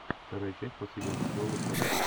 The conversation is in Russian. вторая часть последнего сезона собр